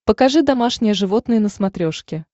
покажи домашние животные на смотрешке